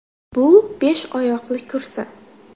Bu besh oyoqli kursi.